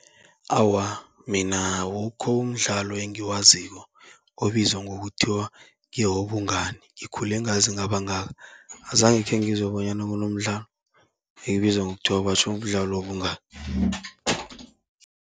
Awa, mina awukho umdlalo engiwaziko obizwa ngokuthiwa ngewobungani, ngikhule ngaze ngaba ngaka azange khengizwe bonyana kunomdlalo ebizwa ngokuthiwa batjho mdlalo wobungani.